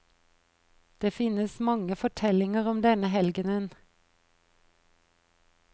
Det finnes mange fortellinger om denne helgenen.